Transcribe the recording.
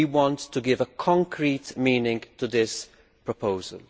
We want to give concrete meaning to this proposal.